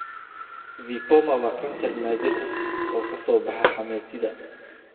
VIPoma waa kansar naadir ah oo ka soo baxa xameetida.